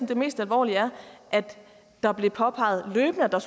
det mest alvorlige er at det blev påpeget løbende at der